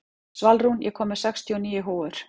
Svalrún, ég kom með sextíu og níu húfur!